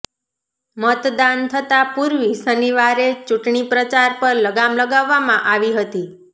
મતદાન થતા પુર્વે શનિવારે ચુંટણી પ્રચાર પર લગામ લગાવામાં આવી હતી